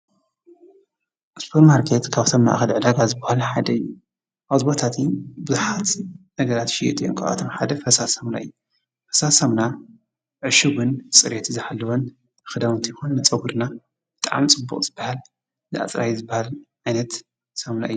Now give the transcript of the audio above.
ሱፐርማርኬት ካብቶም ማእኸል ዕዳጋ ዝበሃሉ ሓደ እዪ። ኣብዚ ቦታ እዚ ብዙሓት ነገራት ይሽየጡ እዮም። ካብዚአቶም ሓደ ፈሳሲ ሳሙና እዪ ።ፈሳሲ ሳሙና ዕሹግን ፅሬቱ ዝሓለወን ክዳዉንቲ ይኹን ንፀጉርና ብጣዕሚ ፅቡቅ ዝበሃል አፅራዪ ዝበሃል ዓይነት ሳሙና እዪ ።